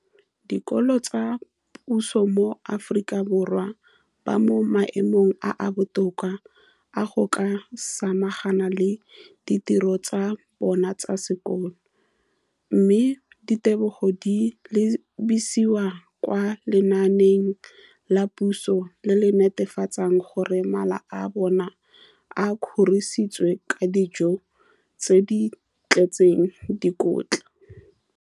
dikolo tsa puso mo Aforika Borwa ba mo maemong a a botoka a go ka samagana le ditiro tsa bona tsa sekolo, mme ditebogo di lebisiwa kwa lenaaneng la puso le le netefatsang gore mala a bona a kgorisitswe ka dijo tse di tletseng dikotla.